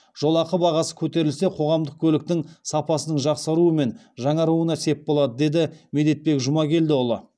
жолақы бағасы көтерілсе қоғамдық көліктің сапасының жақсаруы мен жаңаруына сеп болады деді медетбек жұмагелдіұлы